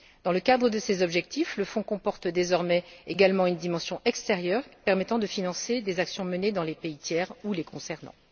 Dans le cadre de ces objectifs, le fonds comporte désormais également une dimension extérieure, permettant de financer des actions menées dans les pays tiers ou les concernant.